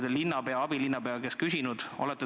Olete te linnapea ja abilinnapea käest küsinud?